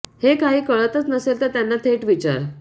हे काही कळतंच नसेल तर त्यांना थेट विचार